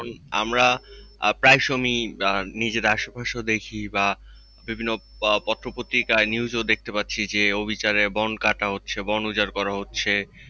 আমরা প্রায় সমিই নিজের আসে-পাশে দেখি বা বিভিন্ন পত্র-পত্রিকায় news এ দেখতে পাচ্ছি যে অবিচারে বনকাটা হচ্ছে বন উজাড় করা হচ্ছে।